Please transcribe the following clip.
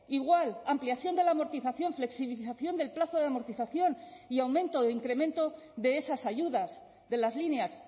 igual ampliación de la amortización flexibilización del plazo de amortización y aumento o incremento de esas ayudas de las líneas